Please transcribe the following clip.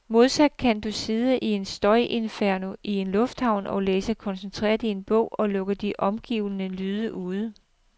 Modsat kan du sidde i et støjinferno i en lufthavn og læse koncentreret i en bog, og lukke de omgivende lyde ude.